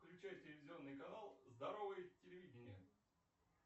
включай телевизионный канал здоровое телевидение